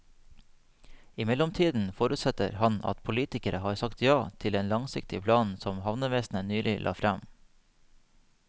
I mellomtiden forutsetter han at politikerne har sagt ja til den langsiktige planen som havnevesenet nylig la frem.